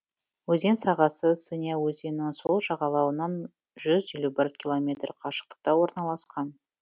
өзен сағасы сыня өзенінің сол жағалауынан жүз елу бір километр қашықтықта орналасқан